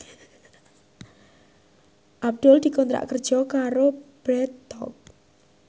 Abdul dikontrak kerja karo Bread Talk